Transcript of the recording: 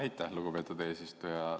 Aitäh, lugupeetud eesistuja!